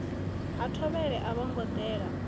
ha thovhele a vhongo dela